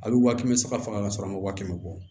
A bɛ waa kɛmɛ saba ma wa kɛmɛ wɔɔrɔ